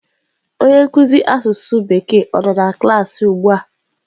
Onye nkuzi asụsụ bekee ọ nọ na klaasị ugbua?